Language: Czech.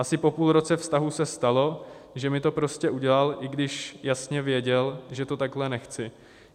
Asi po půl roce vztahu se stalo, že mi to prostě udělal, i když jasně věděl, že to takhle nechci.